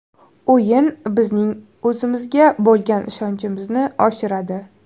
O‘yin bizning o‘zimizga bo‘lgan ishonchimizni oshiradi.